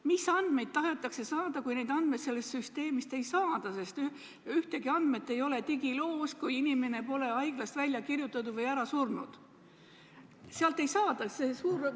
Mis andmeid tahetakse saada, kui neid andmeid sellest süsteemist ei saa, sest mitte mingisuguseid andmeid digiloos ei ole, seni kuni inimene pole haiglast välja kirjutatud või ära surnud?